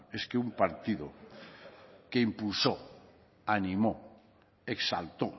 es que un partido que impulsó animó exaltó